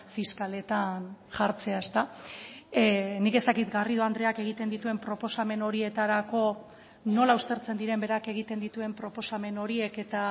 fiskaletan jartzea nik ez dakit garrido andreak egiten dituen proposamen horietarako nola ustertzen diren berak egiten dituen proposamen horiek eta